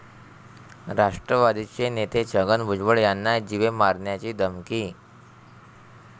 राष्ट्रवादीचे नेते छगन भुजबळ यांना जीवे मारण्याची धमकी